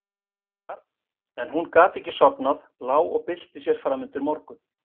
En hún gat ekki sofnað, lá og bylti sér fram undir morgun.